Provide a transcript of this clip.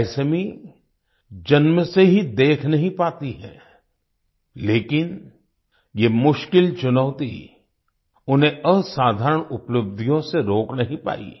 कैसमी जन्म से ही देख नहीं पाती है लेकिन ये मुश्किल चुनौती उन्हें असाधारण उपलब्धियों से रोक नहीं पाई